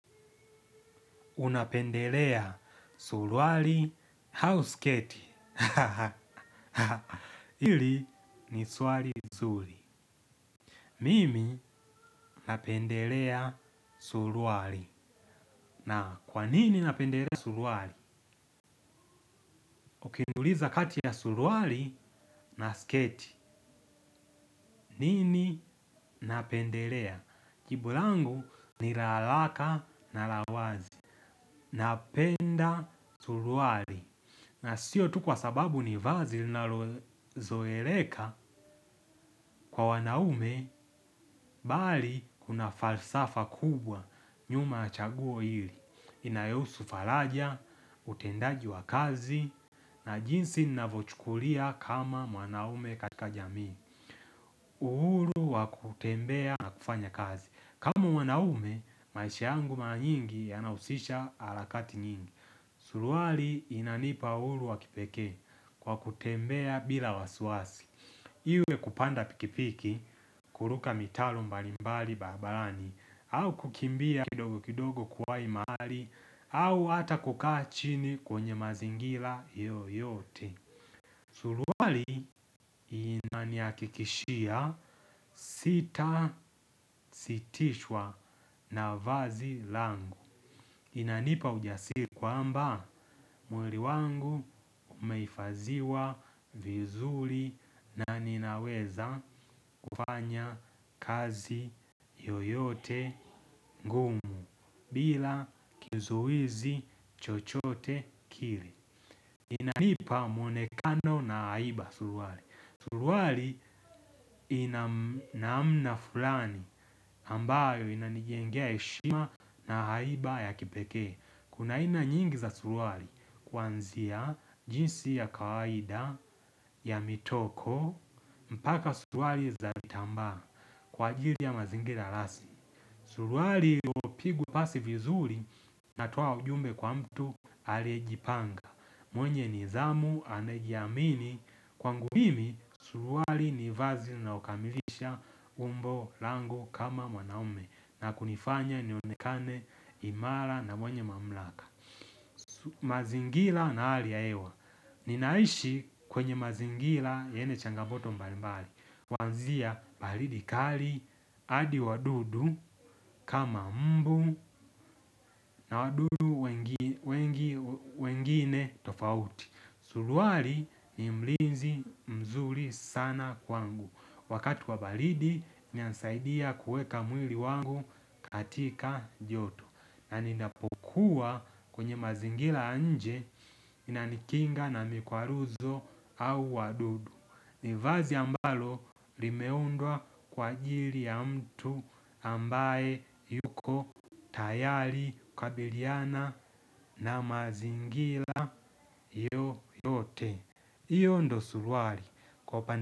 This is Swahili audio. Unapendelea suruali au sketi? Ahaha. Hili ni swali nzuri. Mimi napendelea suruali. Na kwanini napendelea suruali? Ukiniuliza kati ya suruali na sketi. Nini napendelea. Jibu langu ni la haraka na la wazi. Napenda suruali. Na sio tu kwa sababu ni vazi linalozoeleka kwa wanaume bali kuna falsafa kubwa nyuma ya chaguo hili. Inayohusu faraja, utendaji wa kazi na jinsi linavyo chukulia kama wanaume katika jamii. Uhuru wa kutembea na kufanya kazi. Kama mwanaume, maisha yangu mara nyingi yana husisha harakati nyingi. Suruali inanipa huru wakipekee kwa kutembea bila wasiwasi. Iwe kupanda pikipiki, kuruka mitaro mbalimbali barabarani, au kukimbia kidogo kidogo kuwai mahali, au ata kukaa chini kwenye mazingira yoyote. Suruali inanihakikishia sitasitishwa na vazi langu. Inanipa ujasiri kwamba mwili wangu umehifadhiwa vizuri na ninaweza kufanya kazi yoyote ngumu. Bila kizuizi chochote kile inanipa mwonekano na haiba suruali. Suruali ina namna fulani ambayo inanijengea heshima na haiba ya kipekee. Kuna aina nyingi za suruali kuanzia jinsi ya kawaida, ya mitoko, mpaka suruali za tambaa kwa ajili ya mazingira rasmi suruali iliyopigwa pasi vizuri inatoa ujumbe kwa mtu alie jipanga. Mwenye nidhamu anaejiamini kwangu mimi suruari nivazi linaokamilisha umbo langu kama mwanaume na kunifanya nionekane imara na mwenye mamlaka. Mazingira na hali ya hewa ninaishi kwenye mazingira yenye changamoto mbalimbali kuanzia baridi kali hadi wadudu kama mbu na wadudu wengi wengi wengine tofauti. Suruali ni mlinzi mzuri sana kwangu. Wakati wa baridi inasaidia kuweka mwili wangu katika joto. Na ninapokuwa kwenye mazingira nje inanikinga na mikwaruzo au wadudu. Nivazi ambalo limeundwa kwa ajili ya mtu ambaye yuko tayari kukabiliana na mazingira yoyote hiyo ndio suruali kwa upana.